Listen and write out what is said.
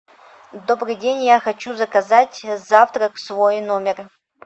добрый день я хочу заказать завтрак в свой номер